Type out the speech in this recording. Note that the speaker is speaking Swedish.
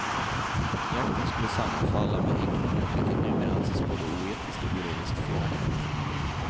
Jakten skulle sammanfalla med häckningen, vilket numera anses både oetiskt och biologiskt felaktigt.